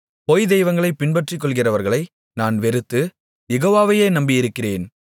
பொய் தெய்வங்ககளைப் பற்றிக்கொள்ளுகிறவர்களை நான் வெறுத்து யெகோவாவையே நம்பியிருக்கிறேன்